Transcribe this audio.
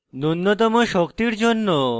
নুন্যতম শক্তির জন্য: